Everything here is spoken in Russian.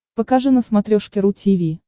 покажи на смотрешке ру ти ви